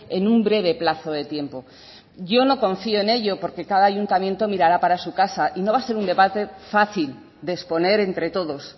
en un breve plazo de tiempo yo no confío en ello porque cada ayuntamiento mirará para su casa y no va a ser un debate fácil de exponer entre todos